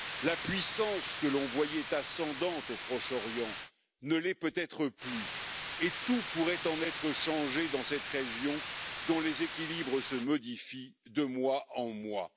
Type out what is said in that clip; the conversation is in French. La puissance que l'on voyait ascendante au Proche Orient ne l'est peut être plus et tout pourrait en être changé dans cette région dont les équilibres se modifient de mois en mois.